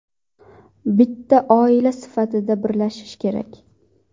Bitta oila sifatida birlashish kerak.